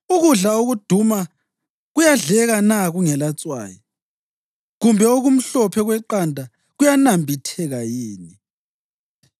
Ukudla okuduma kuyadleka na kungelatswayi, kumbe okumhlophe kweqanda kuyanambitheka yini?